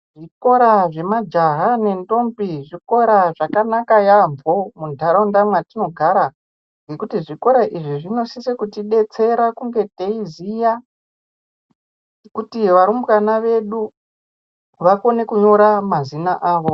Zvikora zvemajaha nendombi zvikora zvakanaka yaampo muntaraunda mwatinogara nekuti Zvikora izvi zvinosise kuti detsera kunge teiziya kuti varumbwana vedu vakone kunyora mazina awo.